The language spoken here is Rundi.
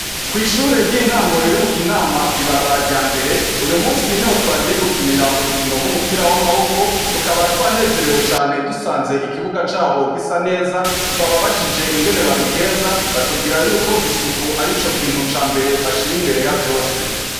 Kw'ishure ry'intango riri mu kinama kw'ibarabara rya mbere uyu munsi niho twagiye gukinira urukino rw'umupira w'amaboko tukaba twanezerewe cane dusaze ikibuga cabo gisa neza twababajije ingene babigeza batubwira yuko isuku arico kintu ca mbere bashira imbere yavyose.